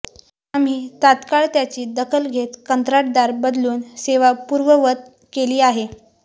आम्ही तात्काळ त्याची दखल घेत कंत्राटदार बदलून सेवा पूर्ववत केली आहे